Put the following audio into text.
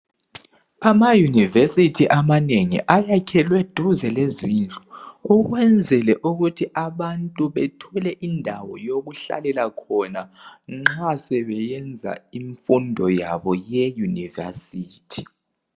Ama university amanengi ayakhalwe duze lezindlu ukwenzela ukuthi abantu bethole indawo yokuhlalela khona nxa sebeyenza imfundo yabo ye university